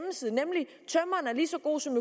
lige så god som